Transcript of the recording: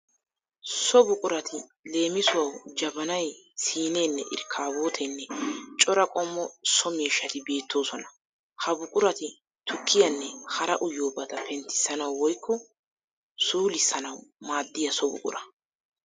So buqurati leemisuwawu jabanayi, siineenne irkkabooteenne cora qommo soo miishshati beettoosona. Ha buqurati tukkiyanne hara uyiyobata penttissanawu woyikko suulissanawu maaddiya so buqura.